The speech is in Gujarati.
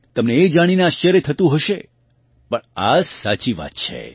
તમને એ જાણીને આશ્ચર્ય થતું હશે પણ આ સાચી વાત છે